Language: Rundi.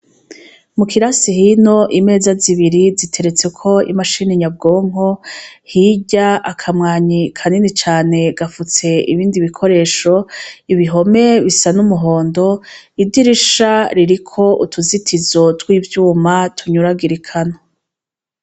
Mu kira sihino imeza zibiri ziteretse uko imashina inyabwonko hirya akamwanyi kanini cane gafutse ibindi bikoresho ibihome bisa n'umuhondo idirisha ririko utuzitizo tw'ivyuma tunyuragirikano.